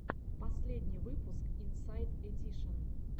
последний выпуск инсайд эдишен